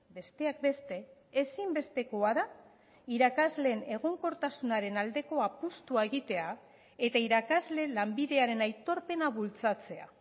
besteak beste ezinbestekoa da irakasleen egonkortasunaren aldeko apustua egitea eta irakasleen lanbidearen aitorpena bultzatzea